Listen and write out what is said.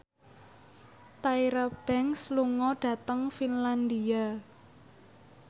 Tyra Banks lunga dhateng Finlandia